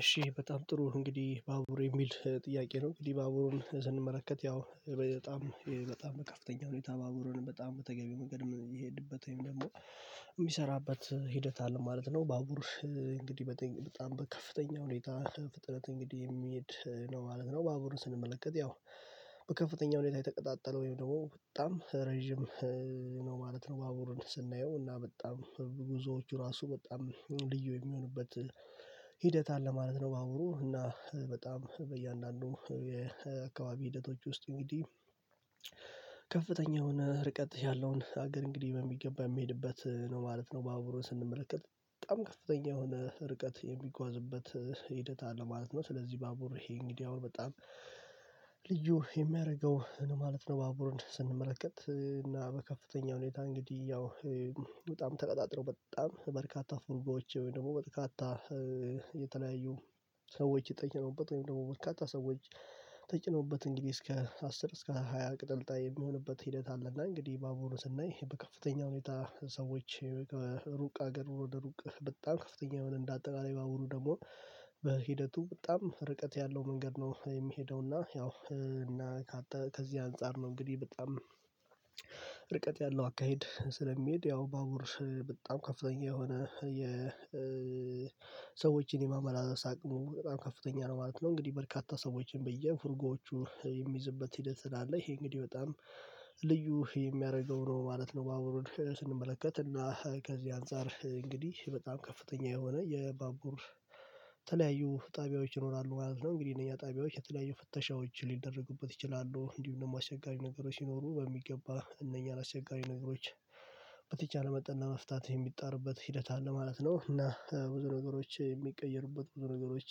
እሺ በጣም ጥሩ እንግዲህ፤ ባቡር የሚል ጥያቄ ነው እንግዲህ ባቡሩን ስንመለከት ያው በጣም በጣም በከፍተኛ ሁኔታ ባቡሩንም በጣም በተገቢ መንገድ የሚሄድበት ወይም ደግሞ የሚሰራበት ሂደት አለ ማለት ነው። ባቡር እንግዲህ በጣም በከፍተኛ ሁኔታ ፍጥነት እንግዲህ የሚሄድ ነው ማለት ነው። ባቡርን ስንመለከት ያው በከፍተኛ ሁኔታ የተቀጣጠለ ወይም ደግሞ በጣም ረጅም ነው ማለት ነው። ባቡርን ስናየው እና በጣም ጉዞዎቹ ራሱ በጣም ልዩ የሚሆንበት ሂደት አለ ማለት ነው። ባቡሩ እና በጣም በእያንዳንዱ የአካባቢ ሂደቶች ውስጥ እንግዲህ የሆነ ርቀት ያለውን ሀገር እንግዲህ በሚገባ የሚሄድበት ነው ማለት ነው። በአብሮን ስንመለከት በጣም ከፍተኛ የሆነ ርቀት የሚጓዝበት ሂደት አለ ማለት ነው። ስለዚህ ባቡር ይሄ እንግዲህ አሁን በጣም ልዩ የሚያደርገው ነው ማለት ነው። ባቡሩን ስንመለከት እና በከፍተኛ ሁኔታ እንግዲህ በጣም ተቀጣጥሮ በጣም በርካታ ፉርጎዎች ወይ ደግሞ በርካታ የተለያዩ ሰዎች ተጭነውበት ወይም ደግሞ በርካታ ሰዎች ተጨነበት እንግዲህ እስከ አስር እስከ ሃያ ቅጥልጣይ የሚሆንበት ሂደት አለ። እና እንግዲህ ባቡሩን ስናይ በከፍተኛ ሁኔታ ሰዎች ሩቅ ሀገር ወደ ሩቅ በጣም ከፍተኛ የሆነ እንደ አጠቃላይ ባቡሩ ደግሞ በሂደቱ በጣም ርቀት ያለው መንገድ ነው። የሚሄደውና ያው እና ከዚህ አንፃር ነው እንግዲህ በጣም ርቀት ያለው አካሄድ ስለሚሄድ ባቡር በጣም ከፍተኛ የሆነ የሰዎችን የማመላለስ አቅሙ በጣም ከፍተኛ ነው ማለት ነው። እንግዲህ በርካታ ሰዎችን በየፉርጎዎቹ የሚይዝበት ሂደት አለ ይሄ እንግዲህ በጣም ልዩ የሚያደርገው ነው ማለት ነው። ባቡሩን ስንመለከት እና ከዚህ አንፃር እንግዲህ በጣም ከፍተኛ የሆነ የባቡር ተለያዩ ጣቢያዎች ይኖራሉ ማለት ነው። እንግዲህ እነኛ ጣቢያዎች የተለያዩ ፍተሻዎች ሊደረጉበት ይችላሉ እንዲሁም ደግሞ አሸጋሪ ነገሮች ሲኖሩ በሚገባ እነኛን አቸጋሪ ነገሮች በተቻለ መጠን እና መፍታት የሚጣርበት ሂደት አለ ማለት ነው። እና ብዙ ነገሮች የሚቀይሩበት ብዙ ነገሮች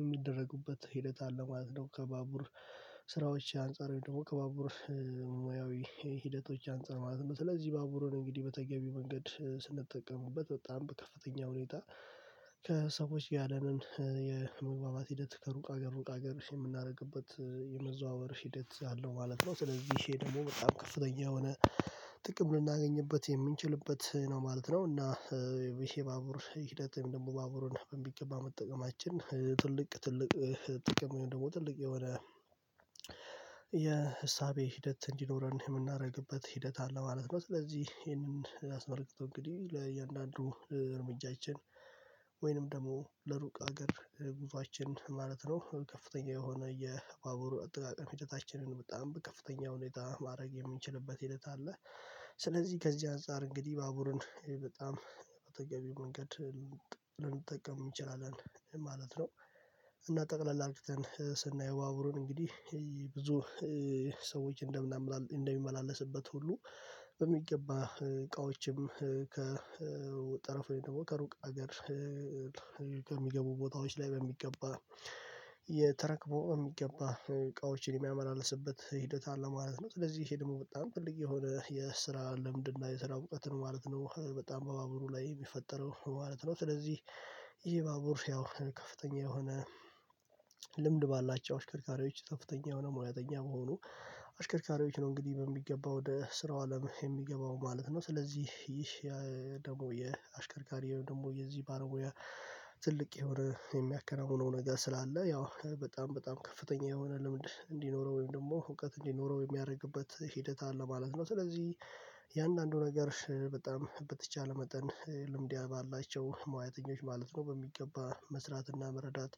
የሚደረጉበት ሂደት አለ ማለት ነው። ከባቡር ስራዎች አንፃር ደግሞ ከባቡር ሂደቶች አንፃር ማለት ነው። ስለዚህ ባቡሩን እንግዲህ በተገቢው መንገድ ስንጠቀምበት በጣም በከፍተኛ ሁኔታ ከሰዎች ያለንን የመግባባት ሂደት ከሩቅ ሀገር ሩቅ ሀገር የምናደርግበት የመዘዋወር ሂደት አለው ማለት ነው። ይህ ደግሞ በጣም ከፍተኛ የሆነ ጥቅም ልናገኝበት የምንችልበት ነው ማለት ነው። እና ይሄ ባቡሩ ሂደት ደግሞ ባቡሩን በሚገባ መጠቀማችን ትልቅ ትልቅ ጥቅም ደግሞ ትልቅ የሆነ የእሳቤ ሂደት እንዲኖረን የምናደርግበት ሂደት አለ ማለት ነው። ስለዚህ ይሄንን አስመልክቶ እንግዲህ ለእያንዳንዱ እርምጃችን ወይንም ደግሞ ለሩቅ ሀገር ጉዞአችን ማለት ነው ከፍተኛ የሆነ የባቡር አጠቃቀም ሂደታችንን በጣም በከፍተኛ ሁኔታ ማድረግ የምንችልበት ሂደት አለ። ስለዚህ ከዚህ አንፃር እንግዲህ ባቡርን በጣም በተገቢው መንገድ ልንጠቀም ይችላል ማለት ነው፤። እና ጠቅለል አርግተን ስናየው ባበሩን እንግዲህ ብዙ ሰዎች እንደምናመላል እንደሚመላለስበት ሁሉ በሚገባ እቃዎችም ከ ጠረፉ ደግሞ ከሩቅ ሀገር ከሚገቡ ቦታዎች ላይ በሚገባ እየተረክቦ በሚገባ እቃዎችን የሚያመላልስበት ሂደት አለ ማለት ነው። ስለዚህ ይሄ ደግሞ በጣም ትልቅ የሆነ የስራ ልምድ እና የስራ እውቀትን ማለት ነው በጣም በባቡሩ ላይ የሚፈጠረው ማለት ነው። ስለዚህ ይሄ ባቡር ያው ከፍተኛ የሆነ ልምድ ባላቸው አሽከርካሪዎች ከፍተኛ የሆነ ሙያተኛ መሆኑ አሽከርካሪዎች ነው እንግዲህ በሚገባው ወደ ስራው አለም የሚገባው ማለት ነው። ስለዚህ ይህ ደግሞ የአሽከርካሪው ደግሞ የዚህ ባለሙያ ትልቅ የሆነ የሚያከናውነው ነገር ስላለ ያው በጣም በጣም ከፍተኛ የሆነ ልምድ እንዲኖረው ወይም ደግሞ እውቀት እንዲኖረው የሚያደርግበት ሂደት አለ ማለት ነው። ስለዚህ የእያንዳንዱ ነገር በጣም በተቻለ መጠን ልምድ ባላቸው ሙያተኞች ማለት ነው በሚገባ መስራትና መረዳት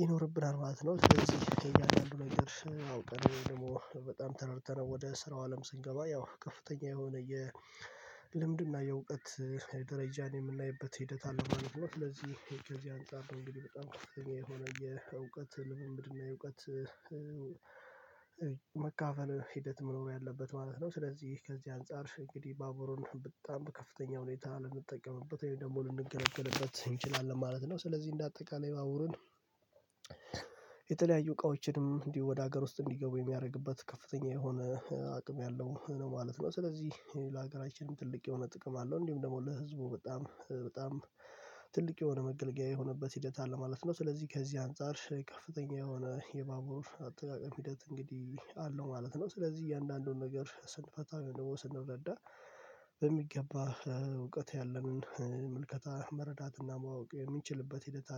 ይኖርብናል ማለት ነው። ስለዚህ የእያንዳንዱን ነገር አውቀን ወይም ደግሞ በጣም ተረድተነው ወደ ስራው አለም ስንገባ ያው ከፍተኛ የሆነ የልምድና የእውቀት ደረጃን የምናይበት ሂደት አለ ማለት ነው። ስለዚህ ከዚህ አንፃር በጣም የሆነ የእውቀት ልምምድና የእውቀት መካፈን ሂደት መኖር ያለበት ማለት ነው። ስለዚህ ከዚህ አንፃር እንግዲህ ባቡሩን በጣም ከፍተኛ ሁኔታ ልንጠቀምበት ወይ ደግሞ ልንገለግልበት እንችላለን ማለት ነው፤። ስለዚህ እንደ አጠቃላይ ባቡሩን የተለያዩ እቃዎችንም እንዲሁ ወደ ሀገር ውስጥ እንዲገቡ የሚያደርግበት ከፍተኛ የሆነ አቅም ያለው ነው ማለት ነው። ስለዚህ ለሀገራችንም ትልቅ የሆነ ጥቅም አለው እንዲህም ደግሞ ለህዝቡ በጣም በጣም ትልቅ የሆነ መገልገያ የሆነበት ሂደት አለ ማለት ነው። ስለዚህ ከዚህ አንፃር ከፍተኛ የሆነ የባቡር አጠቃቀም ሂደት እንግዲህ አለው ማለት ነው። ስለዚህ እያንዳንዱን ነገር ስንፈታው ደግሞ ስንረዳ በሚገባ እውቀት ያለንን ምልከታ መረዳትና ማወቅ የሚችልበት ሂደት